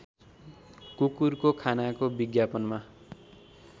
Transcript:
कुकुरको खानाको विज्ञापनमा